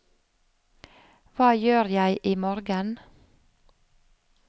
hva gjør jeg imorgen